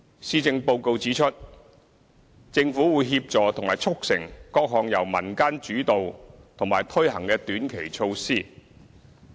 施政報告指出，政府會協助和促成各項由民間主導和推行的短期措施。